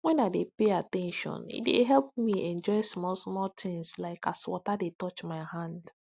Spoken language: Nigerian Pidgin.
when i dey pay at ten tion e dey help me enjoy smallsmall things like as water dey touch my hand